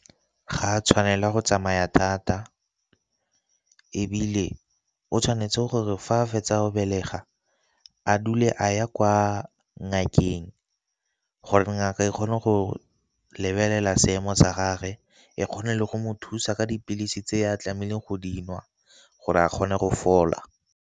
Ga a tshwanela go tsamaya thata, ebile o tshwanetse gore fa a fetsa o belega a dule a ya kwa ngakeng gore ngaka e kgone go lebelela seemo sa gagwe e kgone le go mo thusa ka dipilisi tse e a tlamehileng go dinwa gore a kgone go fola.